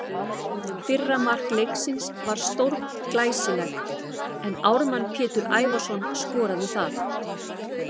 Fyrra mark leiksins var stórglæsilegt en Ármann Pétur Ævarsson skoraði það.